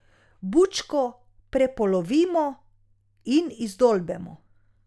Bučko prepolovimo in izdolbemo.